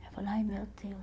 Aí eu falava, ai meu Deus.